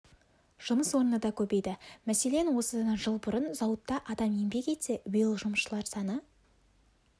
жұмыс орны да көбейді мәселен осыдан жыл бұрын зауытта адам еңбек етсе биыл жұмысшылар саны